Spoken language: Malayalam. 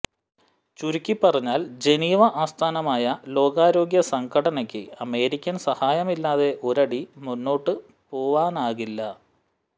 ചുരുക്കി പറഞ്ഞാൽ ജനീവ ആസ്ഥാനമായ ലോകാരോഗ്യ സംഘടനക്ക് അമേരിക്കൻ സഹായമില്ലാതെ ഒരടി മുൻപോട്ടു പോവാനാകില്ല